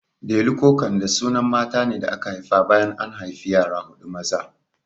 Delu ko Kande sunan matane da aka haifa bayan an haifi yara huɗu maza